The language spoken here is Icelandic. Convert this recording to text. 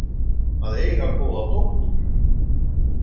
Að eiga góða dóttur.